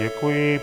Děkuji.